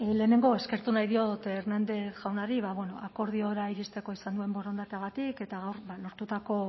lehenengo eskertu nahi diot hernández jaunari ba bueno akordiora iristeko izan duen borondateagatik eta gaur lortutako